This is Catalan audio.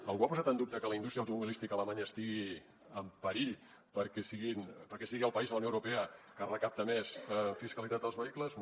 algú ha posat en dubte que la indústria automobilística a alemanya estigui en perill perquè sigui el país de la unió europea que recapta més fiscalitat als vehicles no